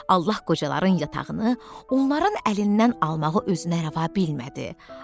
Allah qocaların yatağını onların əlindən almağı özünə rəva bilmədi.